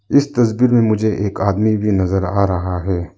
इस तस्वीर में मुझे एक आदमी भी नजर आ रहा है।